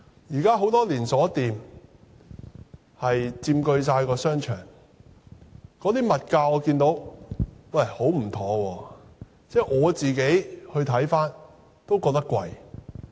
現時很多連鎖店佔據了商場，物價也很有問題，我也感到昂貴。